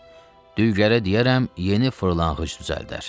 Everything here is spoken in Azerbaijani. Düygərə deyərəm, yeni fırlanqıc düzəldər.